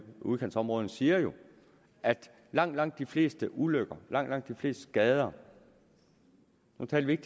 udkantsområderne siger jo at langt langt de fleste ulykker langt langt de fleste skader nu taler vi ikke